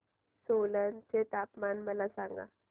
सोलन चे तापमान मला सांगा